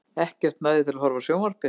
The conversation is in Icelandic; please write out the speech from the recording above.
Ekkert næði til að horfa á sjónvarpið.